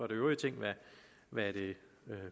det øvrige ting hvad det